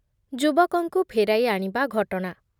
ଯୁବକଙ୍କୁ ଫେରାଇଆଣିବା ଘଟଣା